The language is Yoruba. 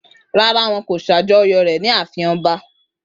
Rárá, wọn kò ṣàjọyọ̀ rẹ̀ ní ààfin ọba